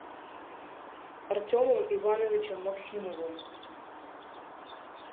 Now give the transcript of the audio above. артемом ивановичем максимовым